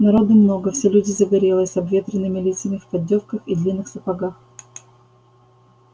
народу много все люди загорелые с обветренными лицами в поддёвках и длинных сапогах